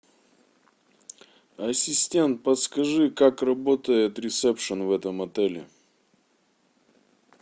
ассистент подскажи как работает ресепшн в этом отеле